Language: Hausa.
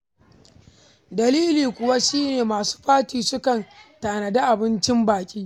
Dalili kuwa shi ne, masu fati sukan tanadi abincin baƙi.